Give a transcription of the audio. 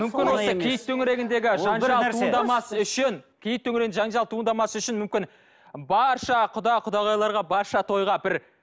мүмкін осы киіт төңірегіндегі жанжал туындамас үшін киіт төңірегінде жанжал туыңдамас үшін мүмкін барша құда құдағайларға барша тойға бір